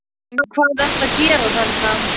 En hvað ertu að gera þarna?